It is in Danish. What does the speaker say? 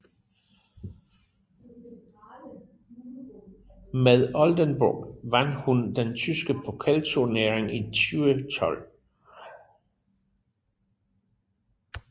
Med Oldenburg vandt hun den tyske pokalturnering i 2012